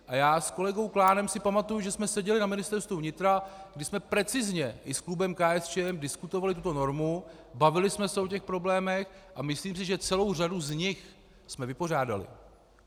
A já s kolegou Klánem si pamatuji, že jsme seděli na Ministerstvu vnitra, že jsme precizně i s klubem KSČM diskutovali tuto normu, bavili jsme se o těch problémech, a myslím si, že celou řadu z nich jsme vypořádali.